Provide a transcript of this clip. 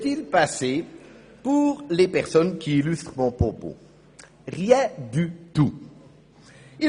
Der Veranlagungsentscheid besteuert diese Person mit 510 Franken, während ihr 2902 Franken pro Monat zur Verfügung stehen.